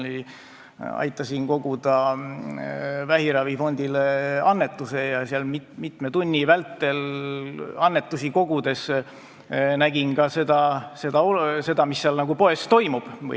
Ma aitasin koguda vähiravifondile annetusi ja mitme tunni vältel annetusi kogudes nägin ka seda, mis seal poodides toimub.